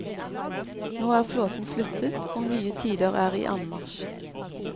Nå er flåten flyttet, og nye tider er i anmarsj.